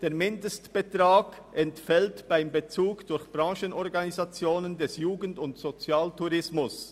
«Der Mindestbetrag gemäss Absatz 1a entfällt beim Bezug durch Branchenorganisationen des Jugend- und Sozialtourismus».